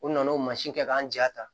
U nana o mansin kɛ k'an jaa ta